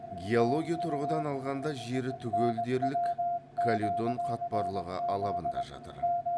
геология тұрғыдан алғанда жері түгел дерлік каледон қатпарлығы алабында жатыр